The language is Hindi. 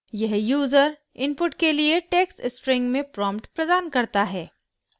यह यूज़र इनपुट के लिए टेक्स्ट स्ट्रिंग में प्रॉम्प्ट प्रदान करता है